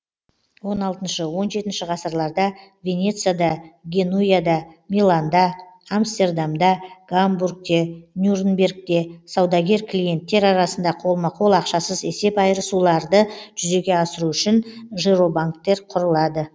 он алтыншы он жетінші ғасырларда венецияда генуяда миланда амстердамда гамбургте нюрнбергте саудагер клиенттер арасында қолма қол ақшасыз есеп айырысуларды жүзеге асыру үшін жиробанктер құрылады